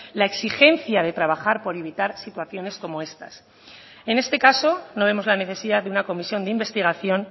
la exigencia de trabajar por evitar situaciones como estas en este caso no vemos la necesidad de una comisión de investigación